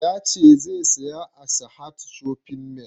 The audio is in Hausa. Ya ce zai saya a sahad shopping mall